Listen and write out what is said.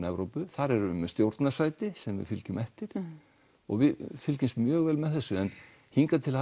Evrópu þar erum við með stjórnarsæti sem við fylgjum eftir og við fylgjumst mjög vel með þessu en hingað til